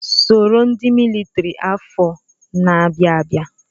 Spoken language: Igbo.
Soro ndị militiri afọ na-abịa abịa!